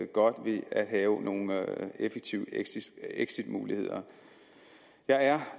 godt ved at have nogle effektive exitmuligheder jeg er